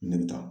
Ne bɛ taa